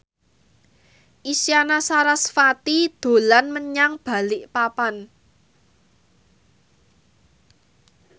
Isyana Sarasvati dolan menyang Balikpapan